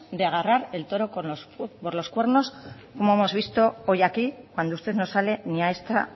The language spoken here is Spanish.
de agarrar el toro por los cuernos como hemos visto hoy aquí cuando usted no sale ni a esta